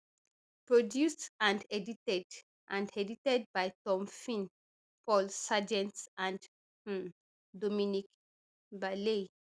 produced and edited and edited by tom finn paul sargeant and um dominic bailey